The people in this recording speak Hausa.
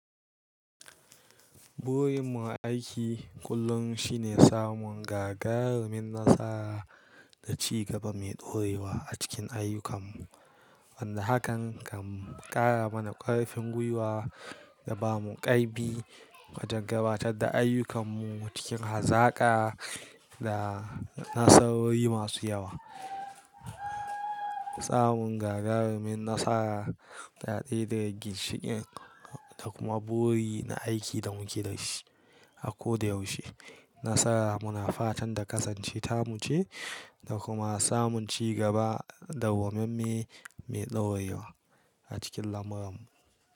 Burin mu a aiki kullum shine samun gagarumin nasara da ci gaba mai dorewa a cikin ayyukanmu. Wanda hakan kan kara mana karfin gwiwa ya bamu kaibi wajan gabatar da ayyukan mu cikin hazaka da nasawoyi masu yawa. Samun gagarumin nasara da daya daga ginshiƙin da kuma buri na aiki da muke da shi. A ko da yaushe, nasara muna fatan da kasance ta muce da kuma samun ci gaba da dawamamme mai ɗorewa acikin lamuran mu.